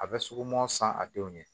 A bɛ suguman san a denw ɲɛ